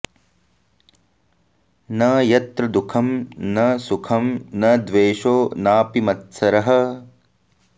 न यत्र दुःखं न सुखं न द्वेषो नापि मत्सरः